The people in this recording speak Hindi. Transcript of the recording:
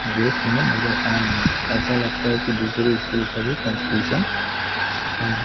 ड्रेस में नजर आ रहे हैं ऐसा लगता है की दूसरी स्कूल का भी कॉम्पटीशन है।